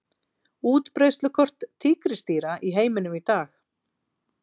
Útbreiðslukort tígrisdýra í heiminum í dag.